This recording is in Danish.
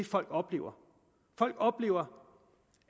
folk oplever folk oplever